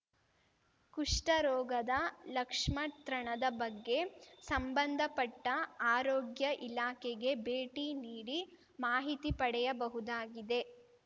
ಕುಷ್ಠ ರೋಗದ ಲಕ್ಷ್ಮತ್ರಣದ ಬಗ್ಗೆ ಸಂಬಂಧಪಟ್ಟಆರೋಗ್ಯ ಇಲಾಖೆಗೆ ಭೇಟಿ ನೀಡಿ ಮಾಹಿತಿ ಪಡೆಯಬಹುದಾಗಿದೆ